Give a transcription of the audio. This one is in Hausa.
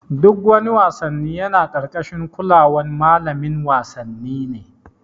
Duk wani wassanni yana karkashin kulawan malamin wasanni ne.